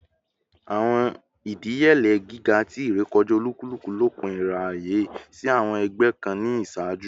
Awọn idiyele giga ti irekọja olukuluku lopin iraye si awọn ẹgbẹ kan ni iṣaaju